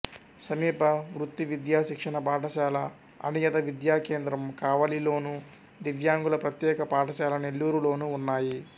సమీప వృత్తి విద్యా శిక్షణ పాఠశాల అనియత విద్యా కేంద్రం కావలిలోను దివ్యాంగుల ప్రత్యేక పాఠశాల నెల్లూరు లోనూ ఉన్నాయి